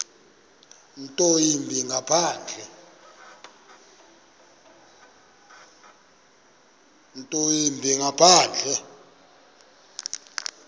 nto yimbi ngaphandle